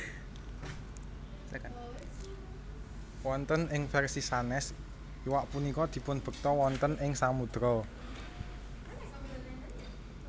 Wonten ing versi sanes iwak punika dipunbekta wonten ing samudera